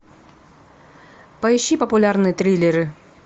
поищи популярные триллеры